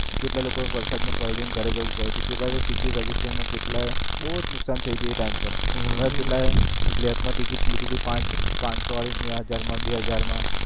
કેટલાક લોકો ને વરસાદ મા પલડીને ઘરે જવુ પડયો હતો કેટલાક તો ટિકિટ registrar કેટલાય બહુ નુકસાન થયો હતો એ time પર કેટલાય black મા ટિકિટ લીધુ હતુ પાચ પાચસો વાડુ હજાર મા બે હજાર મા